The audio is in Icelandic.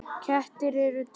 Kettir eru til